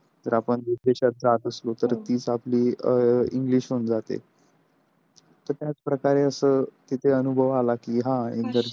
जर आपण विदेशात राहत असलो तर तीच आपली अ english होऊन जाते तर त्याच प्रकारे असं तिथं अनुभव आला कि हा.